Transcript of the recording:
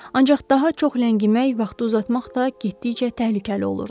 Ancaq daha çox ləngimək, vaxtı uzatmaq da getdikcə təhlükəli olurdu.